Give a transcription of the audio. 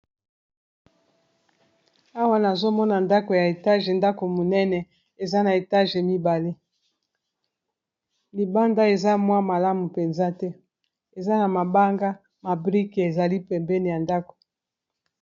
Awa nazomona ndako ya etage ndako monene eza na etage, mibale libanda eza mwa malamu mpenza te eza na mabanga mabrike ezali pembeni ya ndako.